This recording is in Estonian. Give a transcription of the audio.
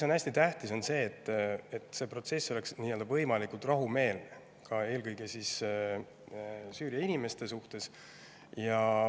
Hästi tähtis on see, et protsess oleks võimalikult rahumeelne, eelkõige Süüria inimeste suhtes.